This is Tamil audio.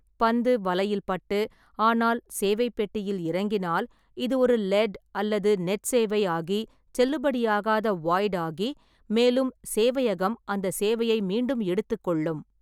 பந்து வலையில் பட்டு, ஆனால் சேவை பெட்டியில் இறங்கினால், இது ஒரு லெட் அல்லது நெட் சேவை ஆகி செல்லுபடியாகாத வாய்ட் ஆகி, மேலும் சேவையகம் அந்த சேவையை மீண்டும் எடுத்துக் கொள்ளும்.